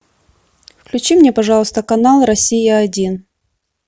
включи мне пожалуйста канал россия один